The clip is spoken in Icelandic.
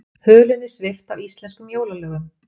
Hulunni svipt af íslenskum jólalögum